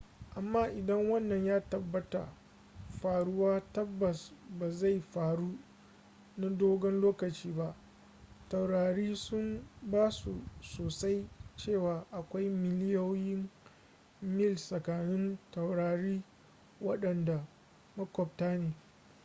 amma idan wannan ya taɓa faruwa tabbas ba zai faru na dogon lokaci ba taurari sun bazu sosai cewa akwai miliyoyin mil tsakanin taurari waɗanda maƙwabta ne